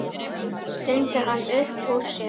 stundi hann upp úr sér.